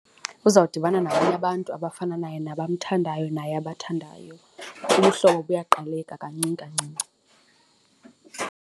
Uzawudibana nabanye abantu abafana naye nabamthandayo naye abathandayo, ubuhlobo buyaqaleka kancini kancinci.